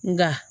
Nka